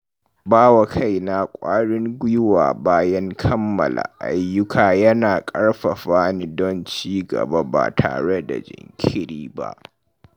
Ba wa kaina ƙwarin gwiwa bayan kammala ayyuka yana ƙarfafa ni don ci gaba ba tare da jinkiri ba.